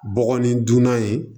Bɔgɔ ni dunan ye